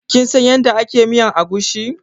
Kin san yada ake miyan agushi?